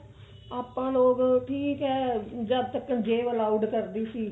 ਆਪਾਂ ਲੋਕ ਠੀਕ ਏ ਜਦ ਤੱਕ ਜੇਬ allowed ਕਰਦੀ ਸੀ